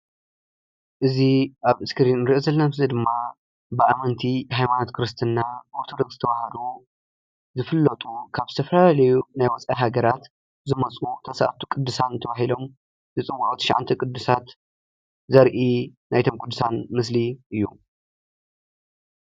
እዚ ኣብ እስክሪን እንሪኦ ዘለና ምስሊ ብኣመንቲ ሃይማኖት ክርስትና ኦሮቶዶክስ ተዋህዶ ዝፍለጡ ካብ ዝተፈላለዩ ወፃኢ ሃገራት ዝመፁ መፃሔፋቲ ቅዱሳን ናይቶም ትሸዓተ ቅዲሳን ዘርኢ እዩ።